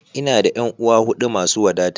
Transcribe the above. Ina da ƴan'uwa huɗu masu wadata.